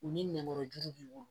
U ni nɛmɔrɔjuru b'i bolo